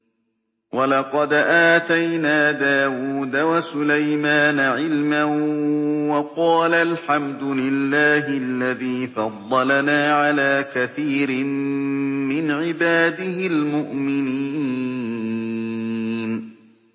وَلَقَدْ آتَيْنَا دَاوُودَ وَسُلَيْمَانَ عِلْمًا ۖ وَقَالَا الْحَمْدُ لِلَّهِ الَّذِي فَضَّلَنَا عَلَىٰ كَثِيرٍ مِّنْ عِبَادِهِ الْمُؤْمِنِينَ